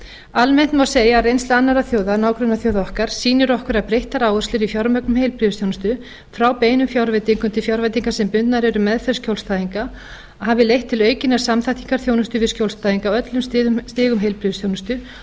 almennt má segja að reynsla annarra þjóða nágrannaþjóða okkar sýni okkur að breyttar áherslur í fjármögnun heilbrigðisþjónustu frá beinum fjárveitingum til fjárveitinga sem bundnar eru meðferð skjólstæðinga hafi leitt til aukinnar samþættingar þjónustu við skjólstæðinga á öllum stigum heilbrigðisþjónustu og